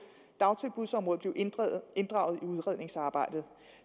dagtilbudsområdet blive inddraget i udredningsarbejdet